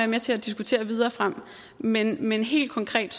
med til at diskutere videre frem men men helt konkret